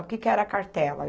O que que era a cartela